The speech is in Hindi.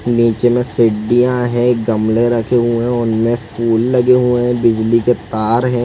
नीचे में सीडडीया है गमले रखें हुए है उनमें फूल लगे हुए है बिजली के तार है।